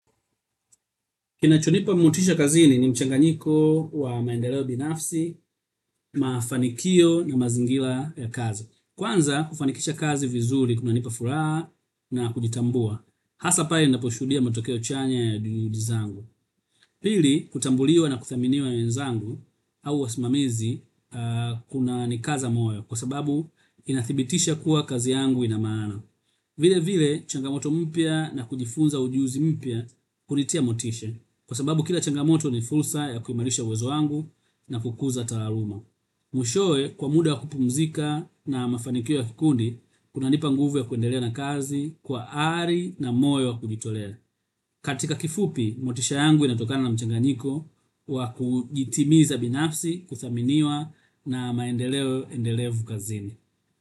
Kinacho nipa motisha kazini ni mchanganyiko wa maendeleo binafsi, mafanikio na mazingira ya kazi. Kwanza kufanikisha kazi vizuri kunanipa furaha na kujitambua hasa pale ninaposhuhudia matokeo chanya ya juhudi zangu. Pili kutambuliwa na kuthaminiwa na wenzangu au wasimamizi kuna nikaza moyo kwa sababu inathibitisha kuwa kazi yangu ina maana. Vile vile changamoto mpya na kujifunza ujuzi mpya hunitia motishe. Kwa sababu kila changamoto ni fursa ya kuimarisha uwezo wangu na kukuza taaluma. Mwishowe kwa muda wa kupumzika na mafanikio ya kikundi kunanipa nguvu ya kuendelea na kazi kwa ari na moyo wa kujitolea. Katika kifupi, motisha yangu inatokana na mchanganiko wa kujitimiza binafsi, kuthaminiwa na maendeleo endelevu kazini.